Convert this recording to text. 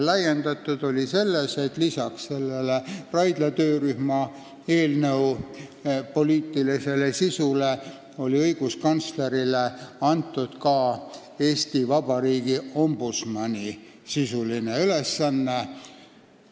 Laiendatud oli selles mõttes, et lisaks Raidla töörühma eelnõus ettenähtud poliitilisele sisule oli õiguskantslerile antud ka Eesti Vabariigi ombudsmani sisuline ülesanne.